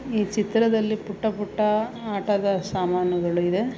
ಈ ಚಿತ್ರದಲ್ಲಿ ಪುಟ್ಟ ಪುಟ್ಟ ಆಟದ ಸಾಮಾನುಗಳು ಇದೆ .